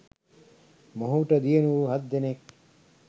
මොහුට දියණිවරු හත් දෙනෙක්